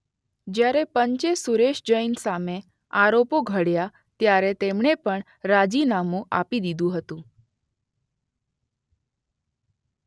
જ્યારે પંચે સુરેશ જૈન સામે આરોપો ઘડ્યાં ત્યારે તેમણે પણ રાજીનામું આપી દીધું હતું.